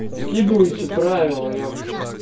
скидывайте правила епта